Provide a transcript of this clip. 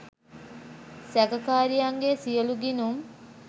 සැකකාරියන්ගේ සියලු ගිණුම්